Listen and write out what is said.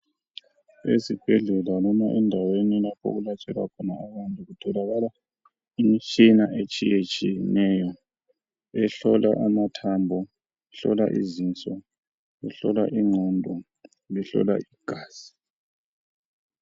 ezibhedlela loba endaweni lapho okulatshelwa khona abantu kutholakala imitshina etshiyetshiyeneyo ehola amathambo ehlola izinso ehlola ingqondo lehlola igazi